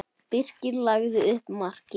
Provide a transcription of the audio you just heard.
Birkir lagði upp markið.